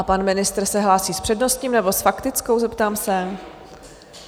A pan ministr se hlásí s přednostním, nebo s faktickou, zeptám se?